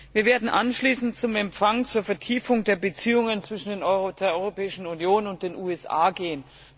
Wir werden anschließend zum Empfang zur Vertiefung der Beziehungen zwischen der Europäischen Union und den USA gehen.